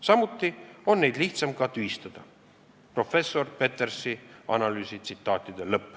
Samuti on neid lihtsam ka tühistada.